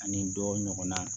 Ani dɔ ɲɔgɔnna